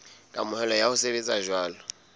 kamohelo ya ho sebetsa jwalo